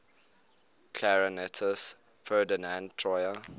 clarinetist ferdinand troyer